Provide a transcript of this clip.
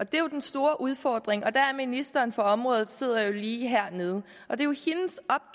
det er jo den store udfordring ministeren for området sidder lige hernede og det